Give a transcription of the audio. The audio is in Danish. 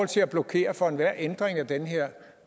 til at blokere for enhver ændring af den her